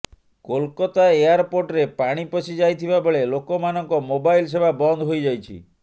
କୋଲକାତା ଏୟାରପୋର୍ଟରେ ପାଣି ପଶି ଯାଇଥିବା ବେଳେ ଲୋକମାନଙ୍କ ମୋବାଇଲ ସେବା ବନ୍ଦ ହୋଇଯାଇଛି